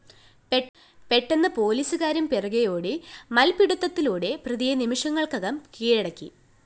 പെട്ടെന്ന് പോലീസുകാരും പിറകേ ഓടി മല്‍പ്പിടുത്തത്തിലൂടെ പ്രതിയെ നിമിഷങ്ങള്‍ക്കകം കീഴടക്കി